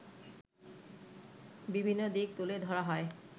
বিভিন্ন দিক তুলে ধরা হয়